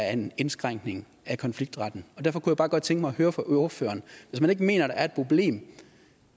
er en indskrænkning af konfliktretten derfor kunne jeg bare godt tænke mig at høre fra ordføreren hvis man ikke mener er et problem